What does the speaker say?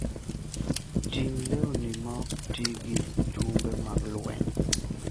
Ting' lewni maok ti gi chumbe mag lweny.